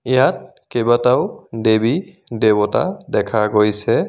ইয়াত কেইবাটাও দেৱী দেৱতা দেখা গৈছে।